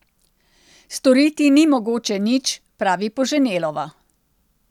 Storiti ni mogoče nič, pravi Poženelova.